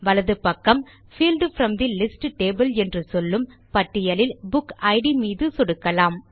வலது பக்கம் field from the list table என்று சொல்லும் பட்டியலில் புக் இட் மீது சொடுக்கலாம்